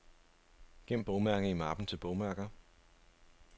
Gem bogmærke i mappen til bogmærker.